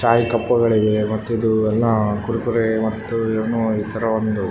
ಚಾಯಿ ಕಪ್ಪುಗಳಿವೆ ಮತ್ತಿದು ಇದು ಎಲ್ಲ ಕುರುಕುರೆ ಮತ್ತು ಇನ್ನೂ ಈ ತರ ಒಂದು --